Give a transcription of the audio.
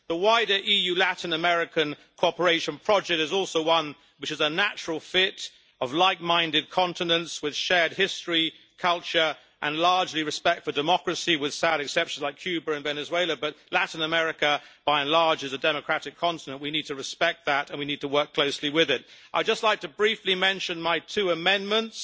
The wider EU Latin American cooperation project is also one which is a natural fit of like minded continents with shared history, culture, and, largely, respect for democracy, with sad exceptions like Cuba and Venezuela. But Latin America, by and large, is a democratic continent we need to respect that and we need to work closely with it. I would just like to briefly mention my two amendments